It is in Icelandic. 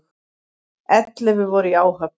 Ellefu voru í áhöfn.